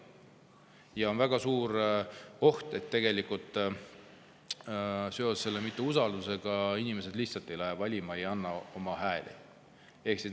Ja on väga suur oht, et tegelikult seoses selle vähese usaldusega inimesed lihtsalt ei lähe valima, ei anna oma hääli.